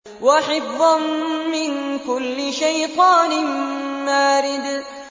وَحِفْظًا مِّن كُلِّ شَيْطَانٍ مَّارِدٍ